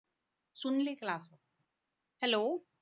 hello